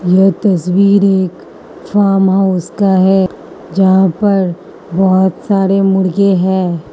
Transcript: यह तस्वीर एक फॉर्म हाउस का है जहां पर बहोत सारे मुर्गे हैं।